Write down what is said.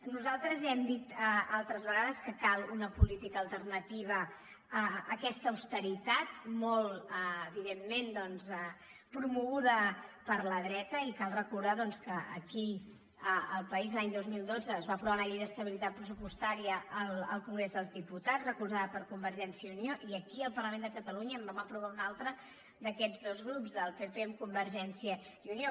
nosaltres hem dit altres vegades que cal una política alternativa a aquesta austeritat molt evidentment doncs promoguda per la dreta i cal recordar que aquí al país l’any dos mil dotze es va aprovar una llei d’estabilitat pressupostària al congrés dels diputats recolzada per convergència i unió i aquí al parlament de catalunya en vam aprovar una altra d’aquests dos grups del pp amb convergència i unió